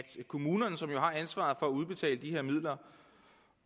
kommunerne som jo har ansvaret for at udbetale de her midler